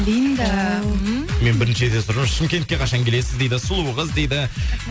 линда ооо ммм мен бірінші рет естіп отырмын шымкентке қашан келесіз дейді сұлу қыз дейді